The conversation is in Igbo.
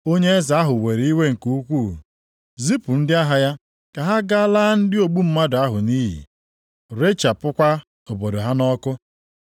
Onye eze ahụ were iwe nke ukwuu, zipụ ndị agha ya ka ha gaa laa ndị ogbu mmadụ ahụ nʼiyi, rechapụkwa obodo ha nʼọkụ.